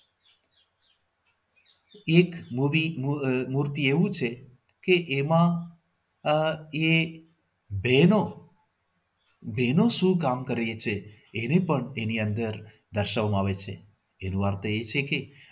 એક મૂર્તિ એક મૂર્તિ એવું પણ છે એ એમાં આહ એ બહેનો બહેનો શું કામ કરે છે એને પણ એની અંદર દર્શાવવામાં આવે છે એની વાર્તા એ છે કે